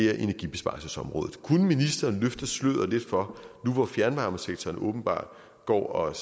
er energibesparelsesområdet kunne ministeren nu hvor fjernvarmesektoren åbenbart går og